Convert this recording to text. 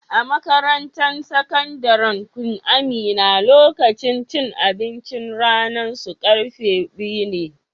A'makarantan sakandaren Queen Amina, lokacin cin abincin ranan su karfe biyu ne.